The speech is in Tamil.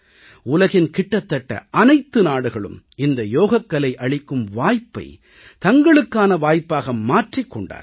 உலகின் கிட்டத்தட்ட அனைத்து நாடுகளும் இந்த யோகக்கலை அளிக்கும் வாய்ப்பை தங்களுக்கான வாய்ப்பாக மாற்றிக் கொண்டார்கள்